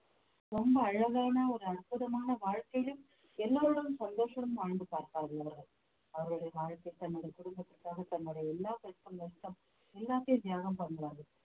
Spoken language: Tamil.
ரொம்ப அழகான ஒரு அற்புதமான வாழ்க்கையிலும் எல்லாரோடும் சந்தோஷம் வாழ்ந்து பார்ப்பார்கள் அவர்கள் அவர்களுடைய வாழ்க்கை தன்னுடைய குடும்பத்திற்காக தன்னுடைய எல்லா கஷ்டநஷ்டம் எல்லாத்தையும் தியாகம் பண்றாங்க